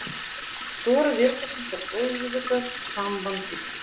Stóra verkefnið er auðvitað samband ykkar.